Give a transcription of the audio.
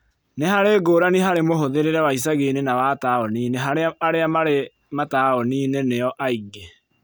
Nĩharĩ ngũrani harĩ mũhũthĩrĩre wa icagi-inĩ na wa taũni inĩ harĩa arĩa marĩ mataũni inĩ nĩo aingĩ